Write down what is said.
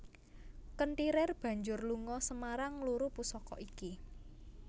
Kenthirir banjur lunga Semarang ngluru pusaka iki